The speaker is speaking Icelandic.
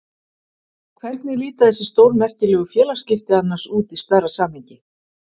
Hvernig líta þessi stórmerkilegu félagsskipti annars út í stærra samhengi?